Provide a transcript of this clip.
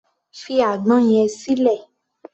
Fi àgbọn yẹn sílẹ̀!